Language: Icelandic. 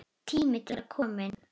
Tími til kominn.